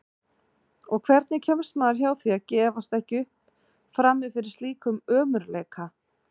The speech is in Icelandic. Og hvernig kemst maður hjá því að gefast ekki upp frammi fyrir slíkum ömurleika?